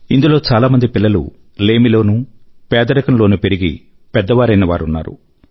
ఇందులో చాలామంది పిల్లలు లేమి లోనూ పేదరికం లోనూ పెరిగి పెద్దయినవారూ ఉన్నారు